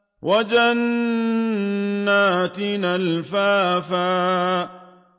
وَجَنَّاتٍ أَلْفَافًا